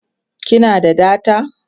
kina da data?